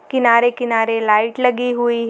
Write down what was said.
किनारे किनारे लाइट लगी हुई है।